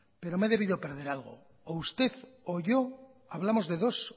pero me he debido perder algo o usted o yo hablamos de dos